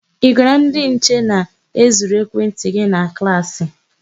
Ị gwara ndị nche na e zuru ekwentị gị na klaasị?